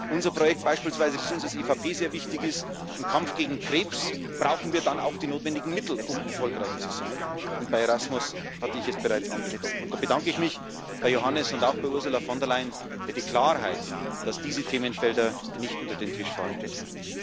Unser Projekt beispielsweise, das uns als EVP sehr wichtig ist Im Kampf gegen Krebs brauchen wir dann auch die notwendigen Mittel, um erfolgreich zu sein. Bei Erasmus hatte ich es bereits angesprochen, und da bedanke ich mich bei Johannes und auch bei Ursula von der Leyen für die Klarheit, dass diese Themenfelder nicht unter den Tisch fallen dürfen.